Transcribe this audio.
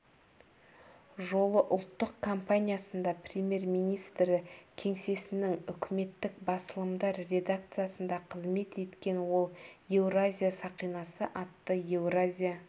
жолы ұлттық компаниясында премьер-министрі кеңсесінің үкіметтік басылымдар редакциясында қызмет еткен ол еуразия сақинасы атты еуразия